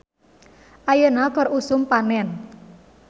"Ayeuna keur usum panen "